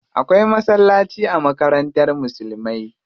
Akwai masallaci a makarantar musulmai.